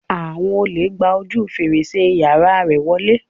Àwọn olè gba ojú fèrèsé yàrá rẹ̀ wọlé.